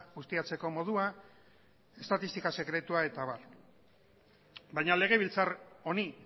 ustiatzeko modua estatistika sekretua eta abar baina legebiltzar honi